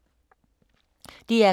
DR K